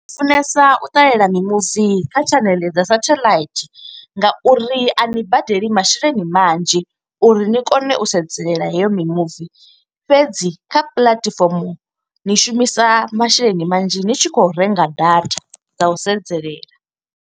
Ndi funesa u ṱalela mimuvi kha tshaneḽe dza sethaḽaithi nga uri a ni badela masheleni manzhi, uri ni kone u sedzelela heyo mimuvi. Fhedzi kha puḽatifomo, ni shumisa masheleni manzhi ni tshi khou renga data dza u sedzelela.